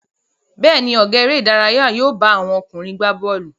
Bẹ́ẹ̀ ni, ọ̀gá eré-idárayá yóò bá àwọn ọkùnrin gbà bọ́ọ́lù.